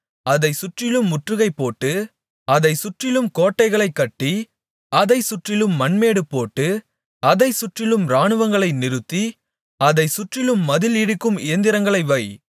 அதை சுற்றிலும் முற்றுகைபோட்டு அதை சுற்றிலும் கோட்டைகளை கட்டி அதை சுற்றிலும் மண்மேடுபோட்டு அதை சுற்றிலும் இராணுவங்களை நிறுத்தி அதை சுற்றிலும் மதில் இடிக்கும் இயந்திரங்களை வை